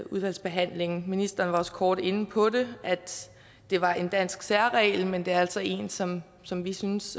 udvalgsbehandlingen ministeren var også kort inde på at det var en dansk særreglel men det er altså en som som vi synes